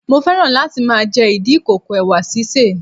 Mo féràn láti máa jẹ ìdí ìkòkò Ẹ̀wà sísè.